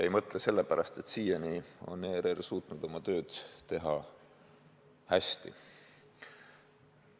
Ei mõtle sellepärast, et siiani on ERR suutnud oma tööd teha hästi.